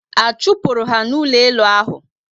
A chupuru ha na ụlọ elu ahụ?